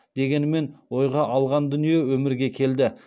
дегенмен ойға алған дүние өмірге келді